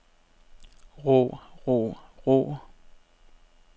rå rå rå